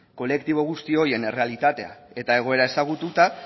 kolektibo guzti horien errealitatea eta egoera ezagututa